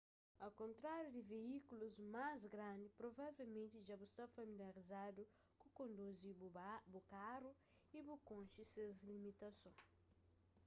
au kontráriu di veíkulus más grandi provavelmenti dja bu sta familiarizadu ku konduzi bu karu y bu konxe se limitasons